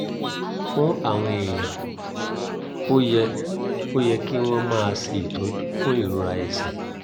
fún àwọn èèyàn ó yẹ ó yẹ kí wọ́n máa ṣe ìtọ́jú fún ìrora ẹ̀sẹ̀